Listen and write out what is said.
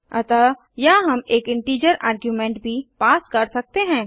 अतः यहाँ हम एक इंटीजर आर्ग्युमेंट भी पास कर सकते हैं